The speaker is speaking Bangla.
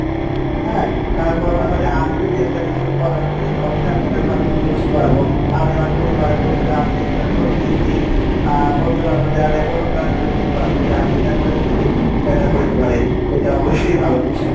হ্যাঁ তারপরে যদি মনে করো যে আমি যদি একটা জিনিস উৎপাদন করি অবশ্যই আমি সেটার ভালো মন্দ বুঝতে পারবো আমি আমার পরিবার পরিজন আত্মীয় প্রতিবেসি আহ বন্ধুবান্ধব দের অনুপ্রাণিত করতে পারবো যে আমি এটা করেছি ত্যুই এটা করতে পারিস এটা অবশ্যই ভালো কিছু।